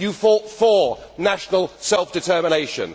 You fought for national self determination.